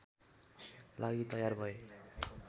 लागि तयार भए